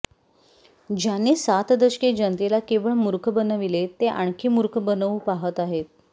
ज्यांनी सात दशके जनतेला केवळ मूर्ख बनविले ते आणखी मूर्ख बनवू पाहत आहेत